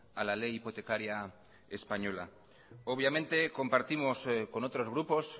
a la ley hipotecaria española obviamente compartimos con otros grupos